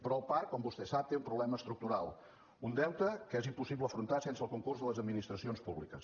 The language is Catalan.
però el parc com vostè sap té un problema estructural un deute que és impossible afrontar sense el concurs de les administracions públiques